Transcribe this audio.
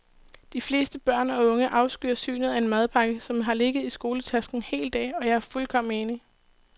De fleste børn og unge afskyr synet af en madpakke, som har ligget i skoletasken en hel dag, og jeg er fuldkommen enig.